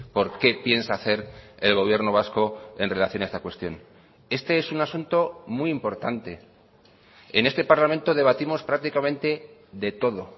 por qué piensa hacer el gobierno vasco en relación a esta cuestión este es un asunto muy importante en este parlamento debatimos prácticamente de todo